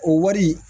O wari